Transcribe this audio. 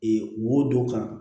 wodɔ kan